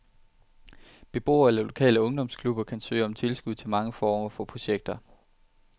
Beboere eller lokale ungdomsklubber kan søge om tilskud til mange former for projekter.